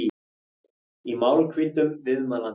í málhvíldum viðmælandans.